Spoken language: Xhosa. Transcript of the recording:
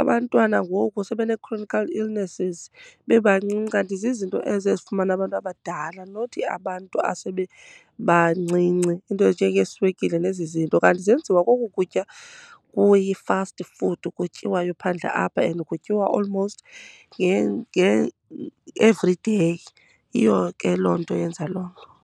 Abantwana ngoku sebenee-chronical illnesses bebancinci, kanti zizinto ezo ezifumana abantu abadala not abantu asebebancinci. Iinto ezinjengeeswekile nezi zinto, kanti zenziwa koku kutya kuyi-fast food kutyiwayo phandle apha and kutyiwa almost everyday. Yiyo ke loo nto yenza loo .